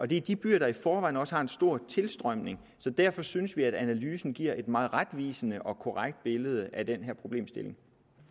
det er de byer der i forvejen også har en stor tilstrømning så derfor synes vi at analysen giver et meget retvisende og korrekt billede af den her problemstilling